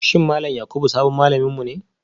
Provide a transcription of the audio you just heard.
Shin Malam Yakubu sabon malaminmu ne